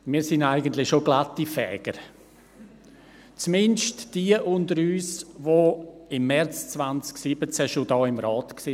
Wir sind eigentlich schon «glatti Fäger», zumindest jene unter uns, die im März 2017 schon in diesem Rat waren.